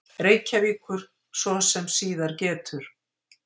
Reykjavíkur, svo sem síðar getur.